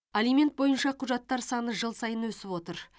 алимент бойынша құжаттар саны жыл сайын өсіп отыр